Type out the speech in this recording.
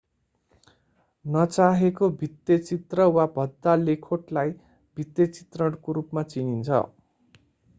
नचाहेको भित्ते चित्र वा भद्दा लेखोटलाई भित्ते चित्रणको रूपमा चिनिन्छ